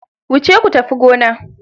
Wuce ku tafi gona.